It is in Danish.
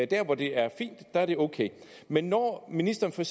der hvor det er fint er det ok men når ministeren for